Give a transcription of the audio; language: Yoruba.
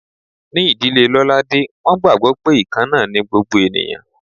Ní ìdílé Lolade, wọ́n gbàgbó pé ikanna ni gbogbo ènìyàn.